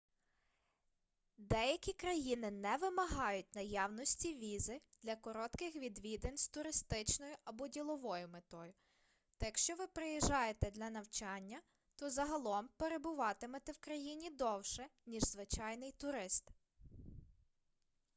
деякі країни не вимагають наявності візи для коротких відвідин з туристичною або діловою метою та якщо ви приїжджаєте для навчання то загалом перебуватимете в країні довше ніж звичайний турист